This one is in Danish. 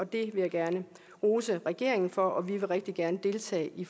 det vil jeg gerne rose regeringen for og vi vil rigtig gerne deltage i